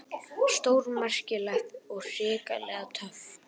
Stórmerkilegt og hrikalega töff.